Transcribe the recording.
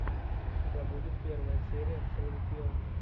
у тебя будет первая серия срилл пилл